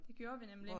Det gjorde vi nemlig